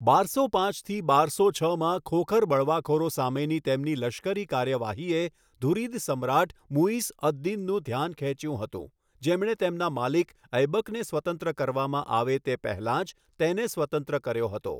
બારસો પાંચ થી બારસો છમાં ખોખર બળવાખોરો સામેની તેમની લશ્કરી કાર્યવાહીએ ઘુરીદ સમ્રાટ મુઈઝ અદ દીનનું ધ્યાન ખેંચ્યું હતું, જેમણે તેમના માલિક ઐબકને સ્વતંત્ર કરવામાં આવે તે પહેલાં જ તેને સ્વતંત્ર કર્યો હતો.